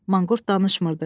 Manqurt danışmırdı.